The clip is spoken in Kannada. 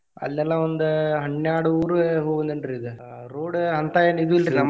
ಅಲ್ಲಿ ಎಲ್ಲಾ ಒಂದ್ ಹನ್ಯಾರ್ಡ್ ಊರ ಹೋಗಿ ಬಂದೇನ್ರಿ ಈಗ ಅಹ್ road ಅಂತಾ ಏನ್ ಇದು ಇಲ್ರಿ .